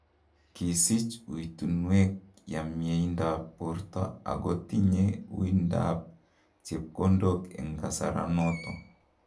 Kisiich uitunwek ya mieindoab borto ago tinye uindoab chepkondok en gasaroton.